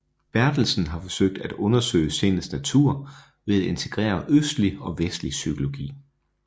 Bertelsen har forsøgt at undersøge sindets natur ved at integrere østlig og vestlig psykologi